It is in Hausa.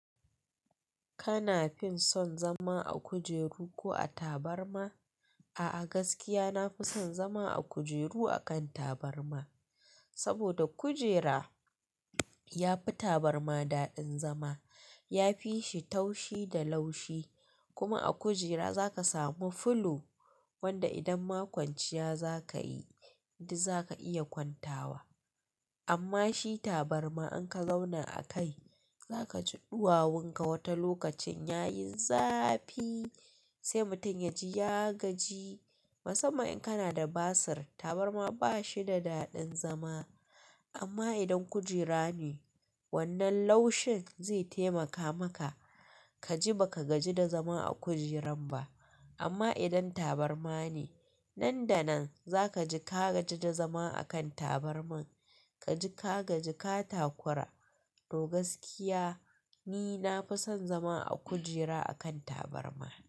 Kana fin son zama a kujeru ko a tabarma? A'a gaskiya nafi son zama a kujeru akan tabarma. Sabida kujera yafi tabarma daɗin zama, ya fishi taushi da laushi. Kuma a kujera zaka samu fulo wanda idan makwanciya zaka yi, duk zaka iya kwantawa. Amma shi tabarma in ka zauna a kai, zaka ji ɗuwawun ka wata lokacin yayi zafi sai mutum yaji ya gaji. Musamman in kana da basir, tabarma bashi da daɗin zama. Amma idan kujera ne, wannan laushin zai taimaka maka kaji baka gaji da zama a kujeran ba. Amma idan tabarma ne, nan da nan zaka ji ka gaji da zama a kan tabarmar. Kaji ka gaji ka takura. To gaskiya ni nafi son zama a kujera akan tabarma.